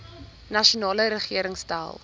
nasionale regering stel